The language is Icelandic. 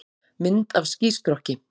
Mynd af skýstrokki.